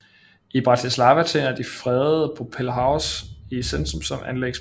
I Bratislava tjener det fredede Propellerhaus i centrum som anlægsplads